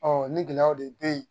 ni gɛlɛyaw de bɛ yen